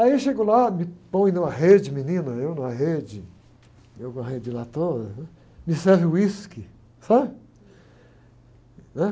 Aí eu chego lá, me põe numa rede, menina, eu numa rede, eu com uma rede lá atoa, me serve whisky, sabe? Né?